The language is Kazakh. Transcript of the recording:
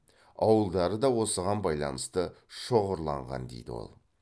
ауылдары да осыған байланысты шоғырланған дейді ол